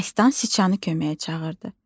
Məstan Siçanı köməyə çağırdı.